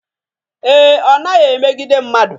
Ee, ọ naghị emegide mmadụ